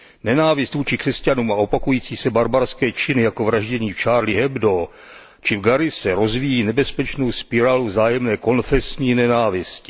Nenávist vůči křesťanům a opakující se barbarské činy jako vraždění v Charlie Hebdo či v Garisse rozvíjí nebezpečnou spirálu vzájemné konfesní nenávisti.